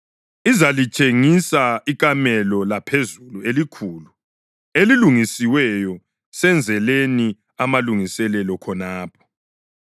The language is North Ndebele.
Izalitshengisa ikamelo laphezulu elikhulu, elilungisiweyo. Senzeleni amalungiselelo khonapho.”